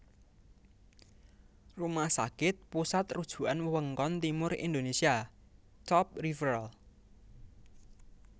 Rumah Sakit Pusat Rujukan Wewengkon Timur Indonesia Top Referal